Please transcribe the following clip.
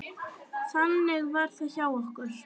Þannig var það hjá okkur.